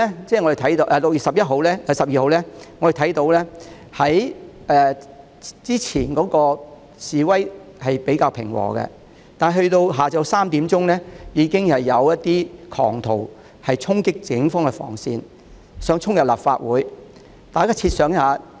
在6月12日，我們看到早段的示威較為平和，但到了下午3時，已經有部分狂徒衝擊警方防線，企圖衝入立法會。